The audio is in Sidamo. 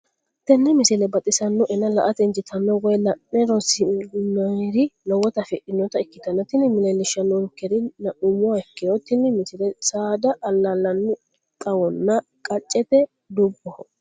tenne misile baxisannonna la"ate injiitanno woy la'ne ronsannire lowote afidhinota ikkitanna tini leellishshannonkeri la'nummoha ikkiro tini misile saada allaa'linanni xawonna qaccete dubboho.